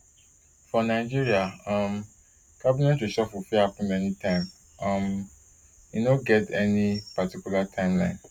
for nigeria um cabinet reshuffle fit happun anytime um e no get any particular timeline